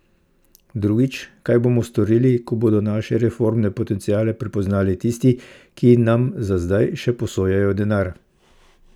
Drugič, kaj bomo storili, ko bodo naše reformne potenciale prepoznali tisti, ki nam za zdaj še posojajo denar?